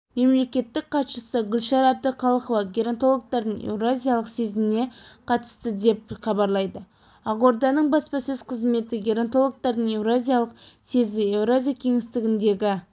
мемлекеттік хатшысы гүлшара әбдіқалықова геронтологтардың еуразиялық съезіне қатысты деп хабарлайды ақорданың баспасөз қызметі геронтологтардың еуразиялық съезі еуразия кеңістігіндегі